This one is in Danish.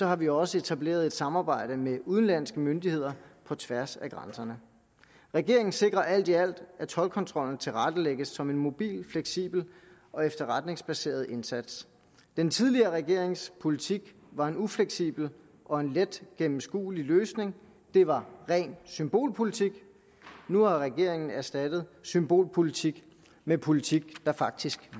har vi også etableret et samarbejde med udenlandske myndigheder på tværs af grænserne regeringen sikrer alt i alt at toldkontrollen tilrettelægges som en mobil fleksibel og efterretningsbaseret indsats den tidligere regerings politik var en ufleksibel og en let gennemskuelig løsning det var ren symbolpolitik nu har regeringen erstattet symbolpolitik med politik der faktisk